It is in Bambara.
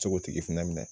Se k'o tigi fana minɛ